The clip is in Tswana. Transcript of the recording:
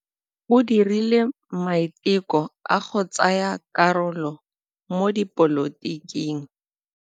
O dirile maitekô a go tsaya karolo mo dipolotiking.